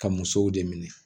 Ka musow de minɛ